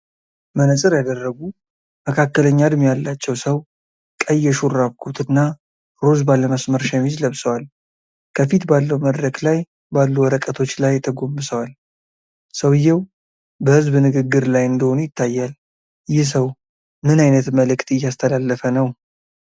መነፅር ያደረጉ መካከለኛ እድሜ ያላቸው ሰው ቀይ የሹራብ ኮት እና ሮዝ ባለመስመር ሸሚዝ ለብሰዋል። ከፊት ባለው መድረክ ላይ ባሉ ወረቀቶች ላይ ተጎንብሰዋል። ሰውየው በሕዝብ ንግግር ላይ እንደሆኑ ይታያል። ይህ ሰው ምን ዓይነት መልዕክት እያስተላለፈ ነው?